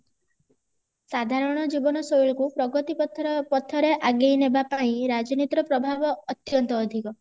ସାଧାରଣ ଜୀବନ ଶୈଳୀକୁ ପ୍ରଗତି ପଥ ପଥରେ ଆଗେଇ ନେବା ପାଇଁ ରାଜନୀତିର ପ୍ରଭାବ ଅତ୍ୟନ୍ତ ଅଧିକ